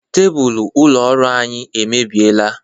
Tebulu ụlọ ọrụ anyị emebieela.